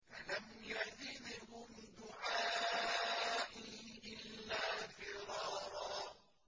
فَلَمْ يَزِدْهُمْ دُعَائِي إِلَّا فِرَارًا